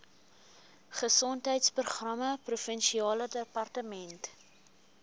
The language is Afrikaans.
gesondheidsprogramme provinsiale departement